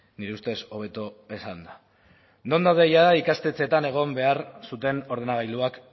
nire ustez hobeto esanda non daude jada ikastetxeetan egon behar zuten ordenagailuak